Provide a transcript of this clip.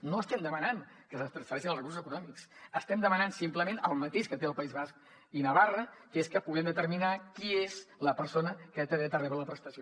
no estem demanant que se’ns transfereixin recursos econòmics estem demanant simplement el mateix que té el país basc i navarra que és que puguem determinar qui és la persona que té dret a rebre la prestació